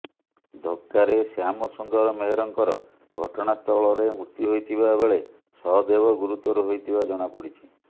ଧକ୍କାରେ ଶ୍ୟାମ ସୁନ୍ଦର ମେହେରଙ୍କର ଘଟଣାସ୍ଥଳରେ ମୃତ୍ୟୁ ହୋଇଥିବାବେଳେ ସହଦେବ ଗୁରୁତର ହୋଇଥିବା ଜଣାପଡିଛି